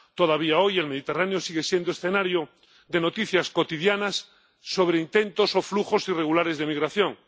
Todavía hoy, el Mediterráneo sigue siendo escenario de noticias cotidianas sobre intentos o flujos irregulares de migración.